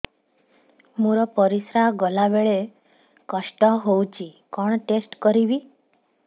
ମୋର ପରିସ୍ରା ଗଲାବେଳେ କଷ୍ଟ ହଉଚି କଣ ଟେଷ୍ଟ କରିବି